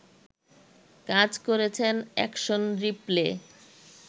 কাজ করেছেন action replay